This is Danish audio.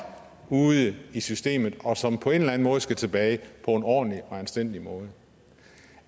ude i systemet og som på en eller anden måde skal tilbage på en ordentlig og anstændig måde